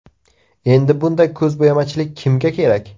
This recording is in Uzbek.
Endi bunday ko‘zbo‘yamachilik kimga kerak?!